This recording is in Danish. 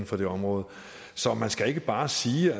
for det område så man skal ikke bare sige